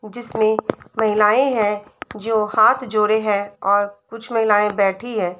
जिसमे महिलए हैं जो हाध जोड़े हैं और कुछ महिलाए बैठी हैं।